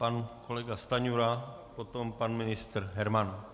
Pan kolega Stanjura, potom pan ministr Herman.